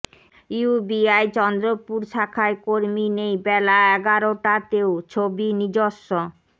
UBI Chandrapur শাখায় কর্মী নেই বেলা এগারটাতেও ছবি নিজস্ব